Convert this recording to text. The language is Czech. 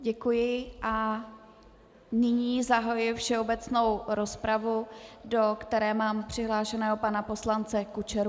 Děkuji a nyní zahajuji všeobecnou rozpravu, do které mám přihlášeného pana poslance Kučeru.